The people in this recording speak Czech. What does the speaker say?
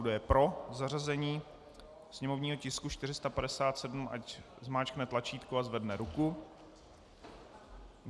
Kdo je pro zařazení sněmovního tisku 457, ať zmáčkne tlačítko a zvedne ruku.